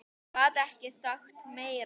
Gat ekki sagt neitt meira.